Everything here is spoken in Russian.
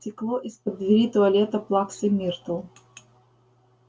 текло из-под двери туалета плаксы миртл